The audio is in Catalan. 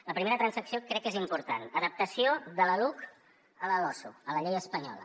la primera transacció crec que és important adaptació de la luc a la losu a la llei espanyola